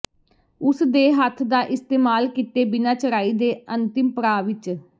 ਉਸ ਦੇ ਹੱਥ ਦਾ ਇਸਤੇਮਾਲ ਕੀਤੇ ਬਿਨਾ ਚੜਾਈ ਦੇ ਅੰਤਿਮ ਪੜਾਅ ਵਿਚ